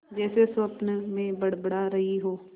जैसे स्वप्न में बड़बड़ा रही हो